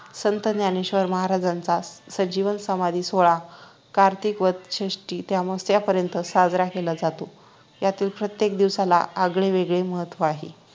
संत ज्ञानेश्वर महाराज्यांचा संजीवन समाधी सोहळा कार्तिक वध षष्टी ते आमावास्येपर्यंत साजरा केला जातो यातील प्रत्येक दिवसाला आगळेवेगळे महत्व आहे